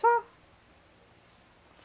Só.